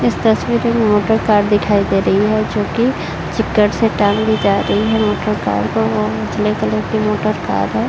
इस तस्वीर में मोटर कार दिखाई दे रही है जोकि उजले कलर की मोटर कार है।